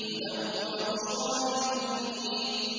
هُدًى وَبُشْرَىٰ لِلْمُؤْمِنِينَ